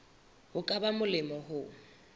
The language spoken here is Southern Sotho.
ho ka ba molemo ho